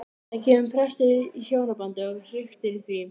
Það kemur brestur í hjónabandið og hriktir í því.